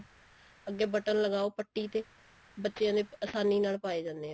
ਅੱਗੇ button ਲਗਾਓ ਪੱਟੀ ਤੇ ਬੱਚਿਆ ਦੇ ਆਸਾਨੀ ਨਾਲ ਪਾਏ ਜਾਂਦੇ ਐ